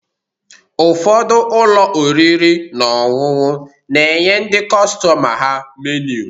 Ụfọdụ ụlọ oriri na ọṅụṅụ na-enye ndị kọstọma ha meniu